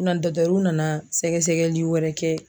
U na nana sɛgɛ sɛgɛli wɛrɛ kɛ